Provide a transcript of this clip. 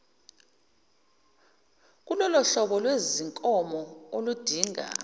kulolohlobo lwezinkomo oludinga